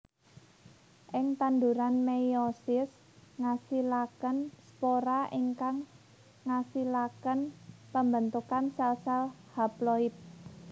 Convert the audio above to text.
Ing tanduran meiosis ngasilaken spora ingkang ngasilaken pembentukan sel sel haploid